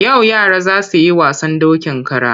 Yau yara za su yi wasan dokin kara.